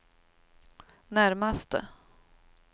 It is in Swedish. närmaste